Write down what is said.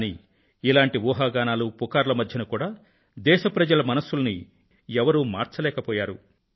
కానీ ఇలాంటి ఊహాగానాలు వదంతుల మధ్య కూడా దేశ ప్రజల మనసుల్ని ఎవరూ కదపలేకపోయారు